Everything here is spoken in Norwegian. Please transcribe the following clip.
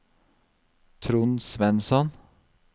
Trond Svensson